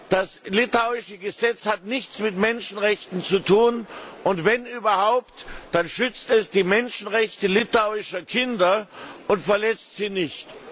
Das litauische Gesetz hat nichts mit Menschenrechten zu tun, und wenn überhaupt, dann schützt es die Menschenrechte litauischer Kinder und verletzt sie nicht.